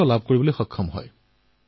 তেওঁ খেতি উদ্ভাৱনী ৰূপত আৰম্ভ কৰিলে